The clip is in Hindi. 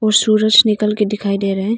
सूरज निकल के दिखाई दे रहे हैं।